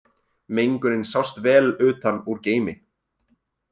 Mengunin sást vel utan úr geimi